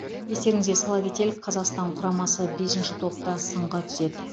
естеріңізге сала кетелік қазақстан құрамасы бесінші топта сынға түседі